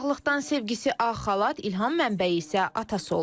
Uşaqlıqdan sevgisi ağ xalat, ilham mənbəyi isə atası olub.